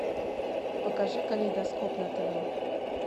покажи калейдоскоп на тв